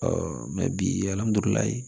mɛ bi